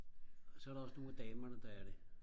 og så er der også nogle af damerne der er det